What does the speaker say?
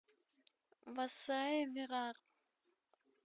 васаи вирар